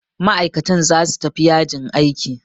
Ma'aikatan zasu tafi yajin aiki.